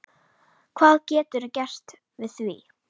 Hvað geturðu gert við því?